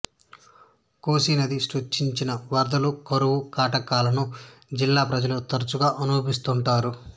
COSY నది సృష్టిస్తున్న వరదలు కరువు కాటకాలను జిల్లా ప్రజలు తరచుగా అనుభవిస్తుంటారు